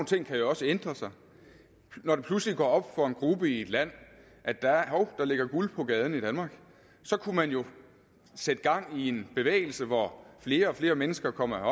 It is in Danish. ting kan jo også ændre sig når det pludselig går op for en gruppe i et land at der ligger guld på gaden i danmark kunne man jo sætte gang i en bevægelse hvor flere og flere mennesker kommer her